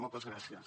moltes gràcies